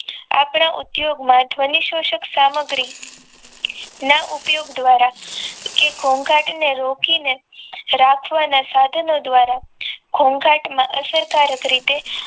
આપણા ઉદ્યોગમાં ધ્વનિશોશક સામગ્રી ના ઉપયોગ દ્વારા તે ઘોઘાટને રોકીને રાખવાના સાધનો દ્વારા ઘોઘાટમાં અસરકારક રીતે